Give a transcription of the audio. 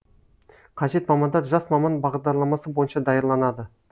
қажет мамандар жас маман бағдарламасы бойынша даярланады